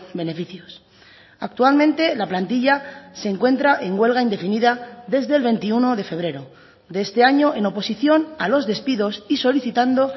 beneficios actualmente la plantilla se encuentra en huelga indefinida desde el veintiuno de febrero de este año en oposición a los despidos y solicitando